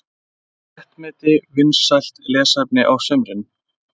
Léttmeti vinsælt lesefni á sumrin